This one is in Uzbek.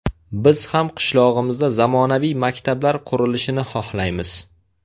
Biz ham qishlog‘imizda zamonaviy maktablar qurilishini xohlaymiz.